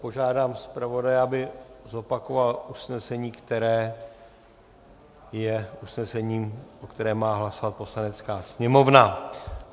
Požádám zpravodaje, aby zopakoval usnesení, které je usnesením, o kterém má hlasovat Poslanecká sněmovna.